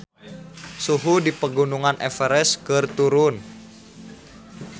Suhu di Pegunungan Everest keur turun